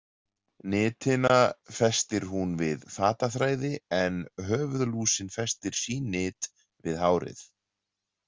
Nitina festir hún við fataþræði en höfuðlúsin festir sín nit við hárið.